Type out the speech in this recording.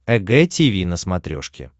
эг тиви на смотрешке